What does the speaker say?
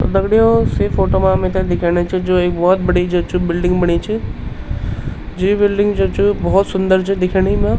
तो दगड़ियों सी फोटो मा मिथे दिखेणा चि जू एक भौत बडी जो च बिल्डिंग बणी च जू यी बिल्डिंग च चू भौत सुन्दर च दिखेणी मा।